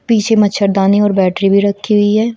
पीछे मच्छरदानी और बैटरी भी रखी हुई है।